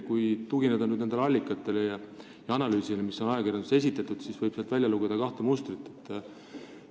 Kui tugineda ajakirjanduses esitatud allikatele ja analüüsile, siis võib sealt kahte mustrit välja lugeda.